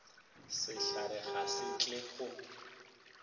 sehlare ga se tle go